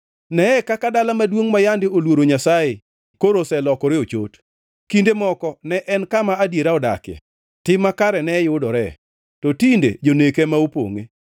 Neye kaka dala maduongʼ ma yande oluoro Nyasaye koro oselokore ochot! Kinde moko ne en kama adiera odakie, tim makare ne yudore, to tinde jonek ema opongʼe.